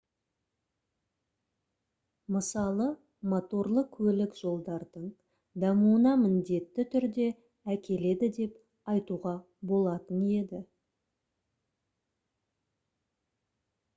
мысалы моторлы көлік жолдардың дамуына міндетті түрде әкеледі деп айтуға болатын еді